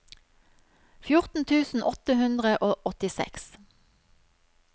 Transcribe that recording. fjorten tusen åtte hundre og åttiseks